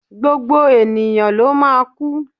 Gbogbo ènìyàn ló máa kú.